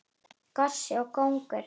Gosi og kóngur.